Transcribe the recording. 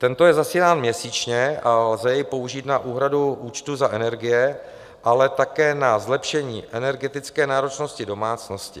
Tento je zasílán měsíčně a lze jej použít na úhradu účtu za energie, ale také na zlepšení energetické náročnosti domácnosti.